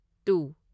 two